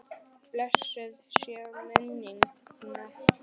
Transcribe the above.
Blessuð sé minning hans.